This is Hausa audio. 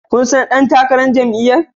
Kun san sabon dan takarar jam'iyyar